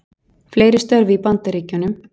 Fleiri störf í Bandaríkjunum